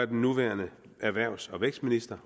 den nuværende erhvervs og vækstminister